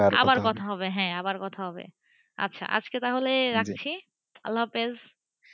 আবার কথা হবে হ্যাঁ আবার কথা হবেআচ্ছা আজকে তাহলে রাখি? আল্লাহ হাফেজ,